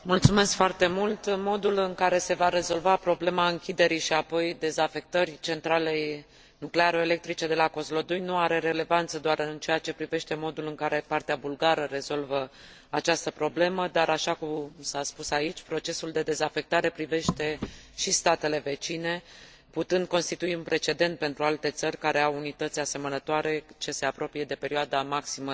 Modul în care se va rezolva problema închiderii și apoi dezafectării centralei nuclearo electrice de la Kozlodui nu are relevanță doar în ceea ce privește modul în care partea bulgară rezolvă această problemă, dar așa cum s a spus aici, procesul de dezafectare privește și statele vecine, putând constitui un precedent pentru alte țări care au unități asemănătoare ce se apropie de perioada maximă de funcționare.